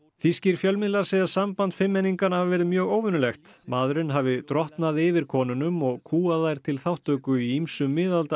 þýskir fjölmiðlar segja samband fimmmenninganna hafa verið mjög óvenjulegt maðurinn hafi drottnað yfir konunum og kúgað þær til þátttöku í ýmsum